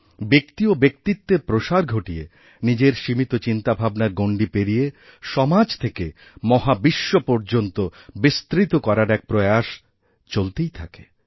ব্যক্তি ও ব্যক্তিত্বের প্রসার ঘটিয়ে নিজেদের সীমিত চিন্তাভাবনার গণ্ডি পেরিয়েসমাজ থেকে মহাবিশ্ব পর্যন্ত বিস্তৃত করার এক প্রয়াস চলতেই থাকে